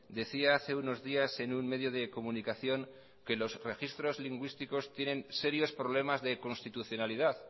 decía hace unos días en un medio de comunicación que los registros lingüísticos tienen serios problemas de constitucionalidad